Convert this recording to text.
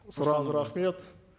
сұрағыңызға рахмет